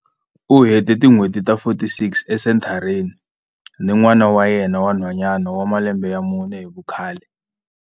U hete tin'hweti ta 46 esenthareni ni n'wana wa yena wa nhwanyana wa malembe ya mune hi vukhale.